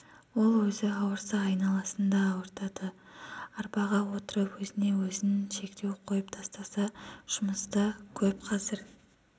ол өзі ауырса айналасын да ауыртады арбаға отырып өзіне өзін шектеу қойып тастаса жұмыст көп қазір